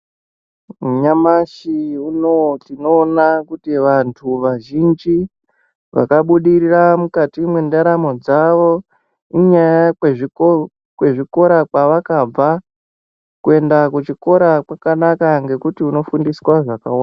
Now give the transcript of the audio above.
Nyamashi unowu tinoona kuti vantu vazhinji vakabudirira mukati mwendaramo dzawo, inyaya yezvikora kwavakabva. Kuenda kuchikora kwakanaka ngekuti unofundiswa zvakawanda.